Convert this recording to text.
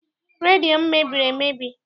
Redio m mebiri emebi.